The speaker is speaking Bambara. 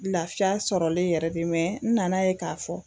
Lafiya sɔrɔlen yɛrɛ de mɛ n nana ye k'a fɔ